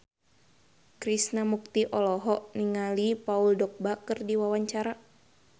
Krishna Mukti olohok ningali Paul Dogba keur diwawancara